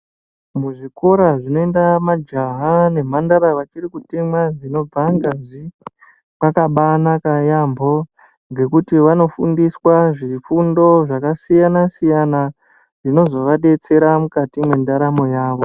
Muzvikora zvinoenda majaha nemhandara vachiri kutemwa dzinobva ngazi kwakabanaka yaambo. Ngekuti vanofundiswa zvifundo zvakasiyana-siyana zvinozovabetsera mukati mwendaamo yavo.